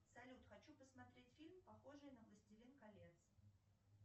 салют хочу посмотреть фильм похожий на властелин колец